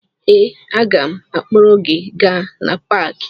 Ee, aga m akpọrọ gị gaa na paakị